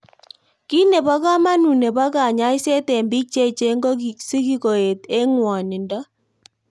Kito nepo kamanut nepo kanyaiset eng' pik che echen ko sikoet eng ng'wonindo